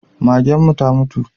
Magen mu ta mutu